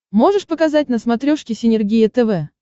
можешь показать на смотрешке синергия тв